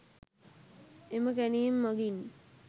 එම කැණීම් මගින්